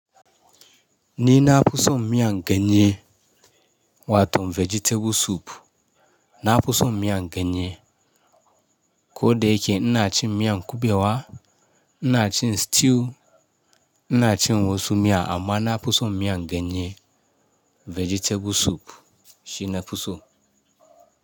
Ni na fi som miyan ganye wato vegetable soup, na fu som miyan ganye. Ko da yake ina cin miyan kubewa, ina cin stew, ina cin wasu miya amma na fu som miyan ganye vegetable soup shina fu som.